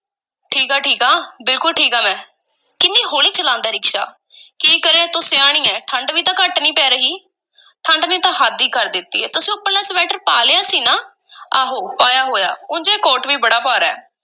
ਠੀਕ ਆ, ਠੀਕ ਆ ਬਿਲਕੁਲ ਠੀਕ ਆਂ ਮੈਂ, ਕਿੰਨੀ ਹੌਲੀ ਚਲਾਂਦਾ ਹੈ ਰਿਕਸ਼ਾ, ਕੀ ਕਰੇ, ਤੂੰ ਸਿਆਣੀ ਏਂ, ਠੰਢ ਵੀ ਤਾਂ ਘੱਟ ਨਹੀਂ ਪੈ ਰਹੀ, ਠੰਢ ਨੇ ਤਾਂ ਹੱਦ ਈ ਕਰ ਦਿੱਤੀ ਏ, ਤੁਸੀਂ ਉੱਪਰਲਾ ਸਵੈਟਰ ਪਾ ਲਿਆ ਸੀ ਨਾ? ਆਹੋ, ਪਾਇਆ ਹੋਇਆ, ਉਂਜ ਇਹ ਕੋਟ ਵੀ ਬੜਾ ਭਾਰਾ ਹੈ।